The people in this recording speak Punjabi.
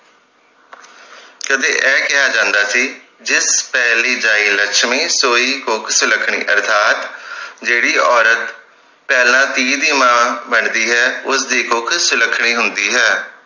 ਕਦੇ ਇਹ ਕਿਹਾ ਜਾਂਦਾ ਸੀ ਜਿੱਤ ਪਹਿਲੀ ਜਾਇ ਲਛਮੀ ਸੋਇ ਕੁੱਖ ਸੁਲੱਖਣੀ ਅਰਥਾਤ ਜਿਹੜੀ ਔਰਤ ਪਹਿਲਾਂ ਧੀ ਦੀ ਮਾਂ ਬਣਦੀ ਹੈ ਉਸਦੀ ਕੁੱਖ ਸੁਲੱਖਣੀ ਹੁੰਦੀ ਹੈ